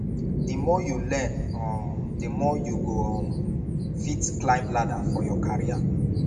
the more you learn um the more you go um fit climb ladder for your career